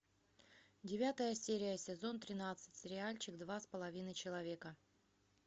девятая серия сезон тринадцать сериальчик два с половиной человека